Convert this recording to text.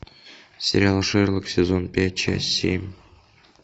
сериал шерлок сезон пять часть семь